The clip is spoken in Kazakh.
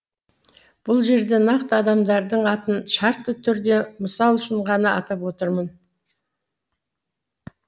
бұл жерде нақты адамдардың атын шартты түрде мысал үшін ғана атап отырмын